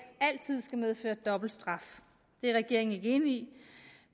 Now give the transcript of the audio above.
altid skal medføre dobbelt straf det er regeringen ikke enig